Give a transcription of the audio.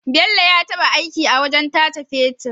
Bello ya taba aiki a wajan tace fetir